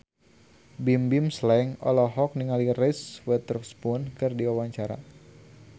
Bimbim Slank olohok ningali Reese Witherspoon keur diwawancara